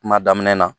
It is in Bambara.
Kuma daminɛ na